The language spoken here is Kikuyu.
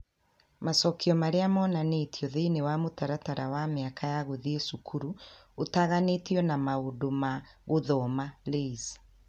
Macokio marĩa monanĩtio thĩinĩ wa mũtaratara wa mĩaka ya gũthiĩ cukuru ũtaganĩtio na maũndũ ma gũthoma (LAYS)